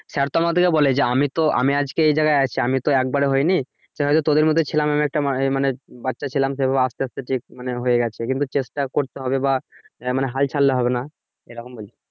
sir তো আমাদেরকে বলে আমি তো আমি আজকে এই জায়গায় আছি আমিতো একবারে হইনি দেখা গেছে তোদের মতো ছিলাম। আমি একটা মানে বাচ্চা ছিলাম সেই ভাবে আস্তে আস্তে ঠিক মানে হয়ে গেছে কিন্তু চেষ্টা করতে হবে বা আহ হাল ছাড়লে হবে না এরকম বলে।